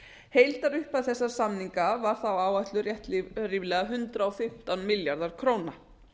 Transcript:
heildarupphæð þessara samninga var þá áætluð rétt ríflega hundrað og fimmtán milljarðar króna